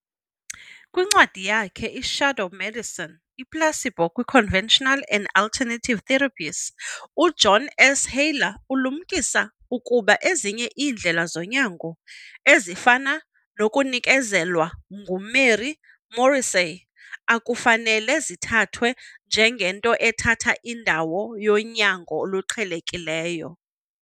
Kwincwadi yakhe, "i-Shadow Medicine- I-Placebo kwi-Conventional and Alternative Therapies," uJohn S. Haller ulumkisa ukuba ezinye iindlela zonyango, ezifana nokunikezelwa nguMary Morrissey, akufanele zithathwe njengento ethatha indawo yonyango oluqhelekileyo.